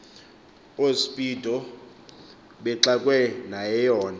oospido bexakwe nayeyona